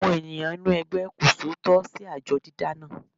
Àwọn ènìyàn inú ẹgbẹ́ kò ṣòótọ́ sí àjọ dídá náà.